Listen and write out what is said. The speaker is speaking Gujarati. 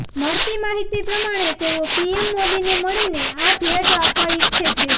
મળતી માહિતી પ્રમાણે તેઓ પીએમ મોદીને મળીને આ ભેટ આપવા ઇચ્છે છે